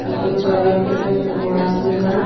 कुछ अलग तरह के बोड़ा भी बा।